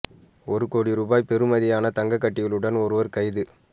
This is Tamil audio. ஒரு கோடி ரூபா பெறுமதியான தங்க கட்டிகளுடன் ஒருவர் கைது